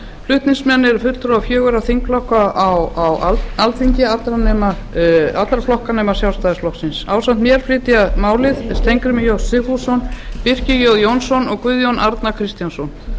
flutningsmenn eru fulltrúar fjögurra þingflokka á alþingi allra flokka nema sjálfstæðisflokksins ásamt mér flytja málið steingrímur j sigfússon birkir j jónsson og guðjón a kristjánsson